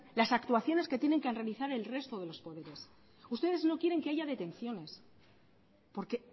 las actuaciones que tienen que realizar el resto de los poderes ustedes no quieren que haya detenciones porque